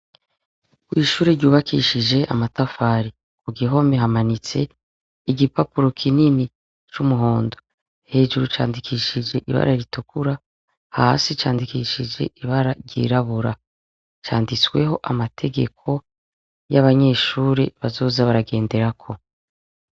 kw'ishuri ryubakishije amatafari ku gihome hamanitse igipapuro kinini cy'umuhondo hejuru candikishije ibara ritukura hasi candikishije ibara ryirabura canditsweho amategeko y'abanyeshuri bazoza baragendera ko.